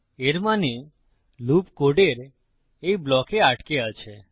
এর মানে লুপ কোডের এই ব্লকে আটকে আছে